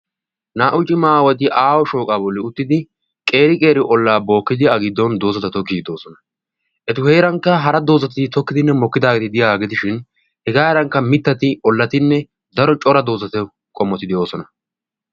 naa''u cima aawati aaho shooqaa bolli uttidi qeeri-qeeri ollaa bookkidi a giddon doozata tokiidoosona etu heerankka hara doozati tokkidinne mokkidaagee diyaagee dishin hegaaarankka mittati ollatinne daro cora doozato qommoti de'oosona